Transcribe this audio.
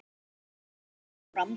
Og Ragnar son okkar.